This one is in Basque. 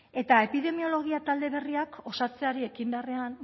eta epidemiologia talde berriak osatzeari ekin beharrean